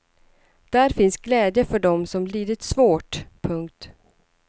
Där finns glädje för dem som lidit svårt. punkt